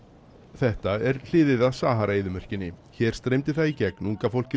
þetta er hliðið að Sahara eyðimörkinni hér streymdi það í gegn unga fólkið